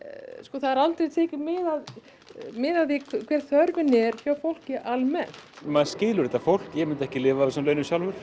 það er aldrei tekið mið af mið af því hver þörfin er hjá fólki almennt maður skilur þetta fólk eg myndi ekki lifa af þessum launum sjálfur